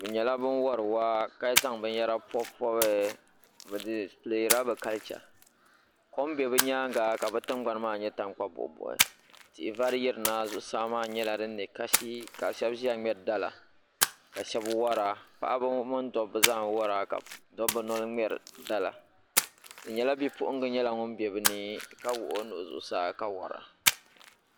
Bɛ nyela bin wari waa ka zaŋ binyara n pɔbipɔbi kom be bɛ nyaaŋa ka bɛ tingbani maa nye tankpa buɣibuɣi tihi vari yirina zuɣusaa maa nyela din nɛ kasi ka shɛbi ʒeya ʒiya ŋmeri dala ka bi wara paɣaba mini dobba zaa n wara dobbi noli n wara ka wuhi o nuhi zuɣu saa ka wara.